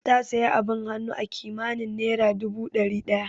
Ta sayi abin hannu akimanin naira dubu dari daya